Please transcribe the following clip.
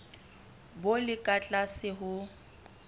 bo le ka tlase ho